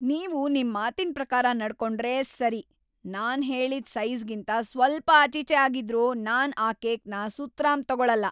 ನೀವು ನಿಮ್ಮಾತಿನ್‌ ಪ್ರಕಾರ ನಡ್ಕೊಂಡ್ರೆ ಸರಿ. ನಾನ್‌ ಹೇಳಿದ್‌ ಸೈಜಿ಼ಗಿಂತ ಸ್ವಲ್ಪ ಆಚೀಚೆ ಆಗಿದ್ರೂ ನಾನ್‌ ಆ ಕೇಕ್‌ನ ಸುತರಾಂ ತಗೊಳಲ್ಲ.